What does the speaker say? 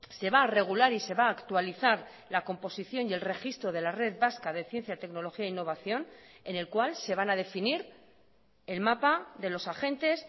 se va a regular y se va a actualizar la composición y el registro de la red vasca de ciencia tecnología e innovación en el cual se van a definir el mapa de los agentes